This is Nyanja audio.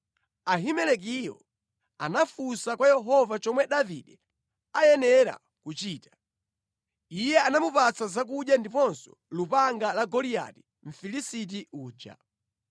Ahimelekiyo anafunsa kwa Yehova chomwe Davide ayenera kuchita. Iye anamupatsa zakudya ndiponso lupanga la Goliati Mfilisiti uja.”